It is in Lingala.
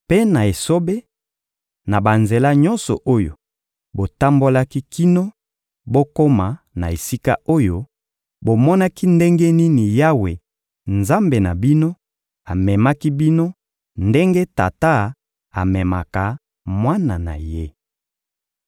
Mpe na esobe, na banzela nyonso oyo botambolaki kino bokoma na esika oyo, bomonaki ndenge nini Yawe, Nzambe na bino, amemaki bino ndenge tata amemaka mwana na ye.»